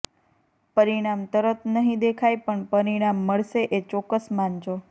પરિણામ તરત નહિ દેખાય પણ પરિણામ મળશે એ ચોક્કસ માનજો